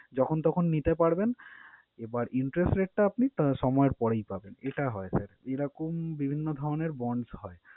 যখন তখন নিতে পারবেন, এবার interest rate টা আপনি আহ সময়ের পরেই পাবেন। এটা হয় sir এরকম বিভিন্ন ধরণের bonds হয়।